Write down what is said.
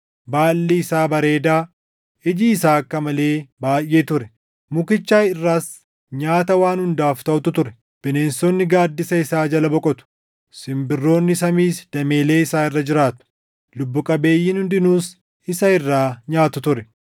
Baalli isaa bareedaa, iji isaa akka malee baayʼee ture; mukicha irras nyaata waan hundaaf taʼutu ture. Bineensonni gaaddisa isaa jala boqotu; simbirroon samiis dameellee isaa irra jiraatu; lubbuu qabeeyyiin hundinuus isa irraa nyaatu ture.